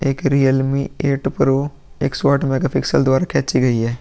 एक Realme eight pro एक सौ आठ मेगापिक्सल द्वारा खींची गई है।